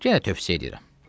Yenə tövsiyə eləyirəm.